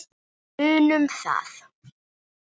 Munum það.